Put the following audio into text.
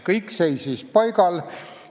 Kõik seisis paigal.